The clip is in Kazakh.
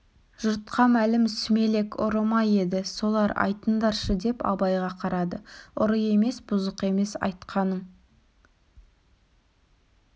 жұртқа мәлім сүмелек ұры ма еді солар айтыңдаршы деп абайға қарады ұры емес бұзық емес айтқаның